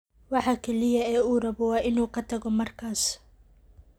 Waxa kaliya ee uu rabo waa inuu ka tago markaas.